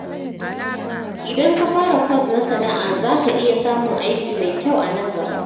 Idan ka fara kwas na sana’a, za ka iya samun aiki mai kyau a nan gaba.